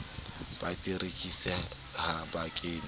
ba ditekesi ha ba kenye